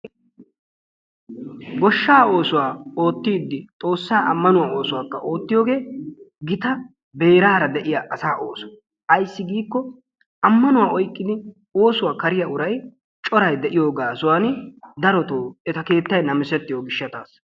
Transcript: Goshshaa oosuwaa ottiddi xoossa amanuwaa oosuwakka oottiyogge gitta beerara de'iyaa asa ooso, ayissi giikko amanuwaa oyqqidi oosuwa kariyaa uraay cora de'iyoo gaasuwaani etta keettay namisettiyo gishshassa.